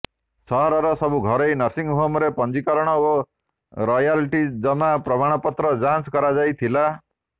ସହରର ସବୁ ଘରୋଇ ନର୍ସିଂହୋମର ପଞ୍ଜିକରଣ ଓ ରୟାଲଟିଜମା ପ୍ରମାଣପତ୍ରଯାଞ୍ଚ କରା ଯାଇଥିଲା